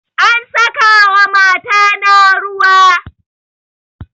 An saka wa mata na ruwa